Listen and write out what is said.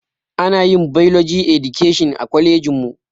Anayin bailoji edikeshin a kwalejinmu